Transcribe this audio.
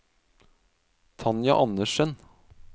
Tanja Anderssen